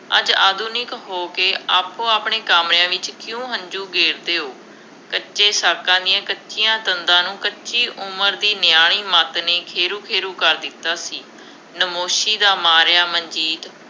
ਅੱਜ ਆਧੁਨਿਕ ਹੋ ਕੇ ਆਪੋ ਆਪਣਿਆ ਕਾਮਿਆਂ ਵਿੱਚ ਕਿਉਂ ਹੰਝੂ ਗੇਰਦੇ ਹੋ, ਕੱਚੇ ਸਾਕਾਂ ਦੀਆਂ ਕੱਚੀਆ ਤੰਦਾਂ ਨੂੰ ਕੱਚੀ ਉਮਰ ਦੀ ਨਿਆਣੀ ਮੱਤ ਨੇ ਖੇਰੂੰ ਖੇਰੂੰ ਕਰ ਦਿੱਤਾ ਸੀ, ਨਾਮੋਸ਼ੀ ਦਾ ਮਾਰਿਆ ਮਨਜੀਤ